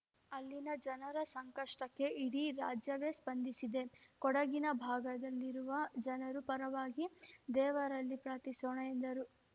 ಅಲ್ಲಿನ ಜನರ ಸಂಕಷ್ಟಕ್ಕೆ ಇಡೀ ರಾಜ್ಯವೇ ಸ್ಪಂದಿಸಿದೆ ಕೊಡಗಿನ ಭಾಗದಲ್ಲಿರುವ ಜನರು ಪರವಾಗಿ ದೇವರಲ್ಲಿ ಪ್ರಾರ್ಥಿಸೋಣ ಎಂದರು